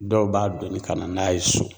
Dɔw b'a donni ka na n'a ye so.